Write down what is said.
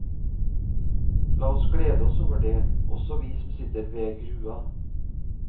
La oss glede oss over det, også vi som sitter ved grua.